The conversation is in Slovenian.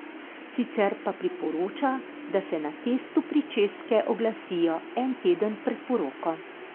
Sicer pa priporoča, da se na testu pričeske oglasijo en teden pred poroko.